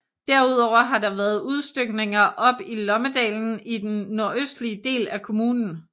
Derudover har der været udstykninger op i Lommedalen i den nordøstlige del af kommunen